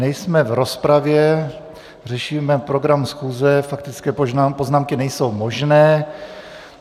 Nejsme v rozpravě, řešíme program schůze, faktické poznámky nejsou možné.